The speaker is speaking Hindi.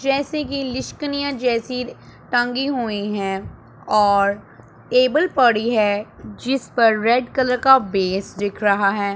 जैसे कि लिशकनिया जैसी टांगी हुई हैं और टेबल पड़ी है जिसपर रेड कलर बेस दिख रहा है।